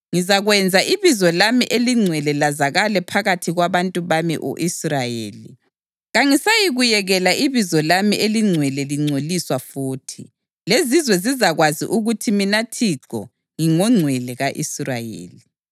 Ngizakwenza ibizo lami elingcwele lazakale phakathi kwabantu bami u-Israyeli. Kangisayikuyekela ibizo lami elingcwele lingcoliswa futhi, lezizwe zizakwazi ukuthi mina Thixo ngingoNgcwele ka-Israyeli.